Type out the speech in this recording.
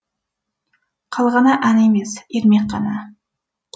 қалғаны ән емес ермек қана